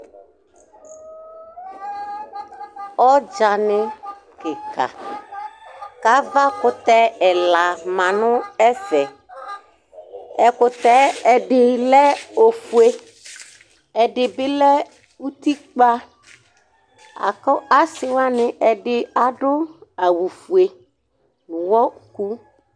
Ɔdzani kika, kʋ avakʋtɛ ɛla ma nʋ ɛfɛ Ɛkʋtɛ ɛdɩ lɛ ofue Ɛdɩ bɩ lɛ utikpǝ, akʋ asɩ wani ɛdɩ adu awufue